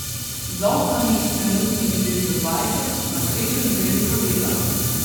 Z ovcami, trenutno jih redijo dvajset, na srečo ni veliko dela.